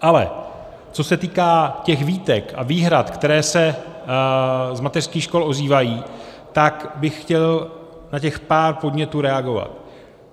Ale co se týká těch výtek a výhrad, které se z mateřských škol ozývají, tak bych chtěl na těch pár podnětů reagovat.